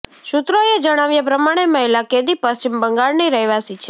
સૂત્રોએ જણાવ્યા પ્રમાણે મહિલા કેદી પશ્ચિમ બંગાળની રહેવાસી છે